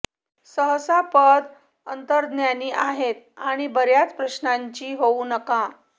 सहसा पद अंतर्ज्ञानी आहेत आणि बर्याच प्रश्नांची होऊ नका